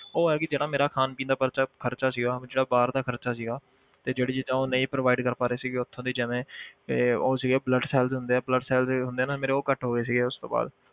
ਉਹ ਹੈ ਕਿ ਜਿਹੜਾ ਮੇਰਾ ਖਾਣ ਪੀਣ ਦਾ ਪਰਚਾ ਖ਼ਰਚਾ ਸੀਗਾ ਉਹ ਜਿਹੜਾ ਬਾਹਰ ਦਾ ਖ਼ਰਚਾ ਸੀਗਾ ਤੇ ਜਿਹੜੀ ਚੀਜ਼ਾਂ ਉਹ ਨਹੀਂ provide ਕਰ ਪਾ ਰਹੇ ਸੀਗੇ ਉੱਥੋਂ ਦੀ ਜਿਵੇਂ ਤੇ ਉਹ ਸੀਗੇ blood cells ਹੁੰਦੇ ਆ blood cells ਹੁੰਦੇ ਆ ਨਾ ਮੇਰੇ ਉਹ ਘੱਟ ਹੋ ਗਏ ਸੀਗੇ ਉਸ ਤੋਂ ਬਾਅਦ,